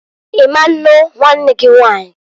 I ma nnu nwanne gị Nwanyiǃ